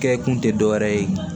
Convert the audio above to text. Kɛ kun tɛ dɔ wɛrɛ ye